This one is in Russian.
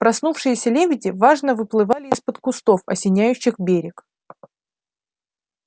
проснувшиеся лебеди важно выплывали из-под кустов осеняющих берег